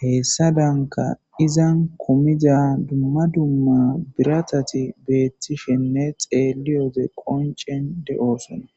heessa danka izan komida dumma dumma biratati beettishenne xeeli ode qoncen de7oosona.